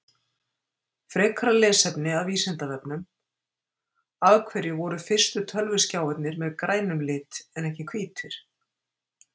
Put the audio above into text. Frekara lesefni af Vísindavefnum Af hverju voru fyrstu tölvuskjáirnir með grænum lit en ekki hvítir?